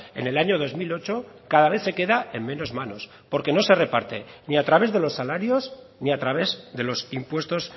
en el año dos mil ocho cada vez se queda en menos manos porque no se reparte ni a través de los salarios ni a través de los impuestos